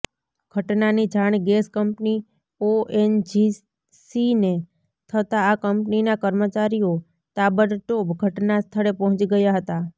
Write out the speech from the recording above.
ઘટનાની જાણ gas company ઓએનજીસીને થતાં આ કંપનીના કર્મચારીઓ તાબડતોબ ઘટના સ્થળે પહોંચી ગયા હતાં